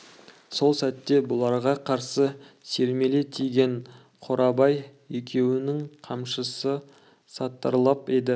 сол сәтте бұларға қарсы сермеле тиген қорабай екеуінің қамшысы сатырлап еді